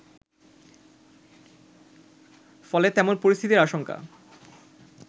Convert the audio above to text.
ফলে তেমন পরিস্থিতির আশংকা